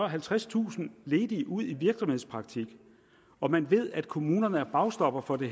halvtredstusind ledige ud i virksomhedspraktik og man ved at kommunerne er bagstopper for det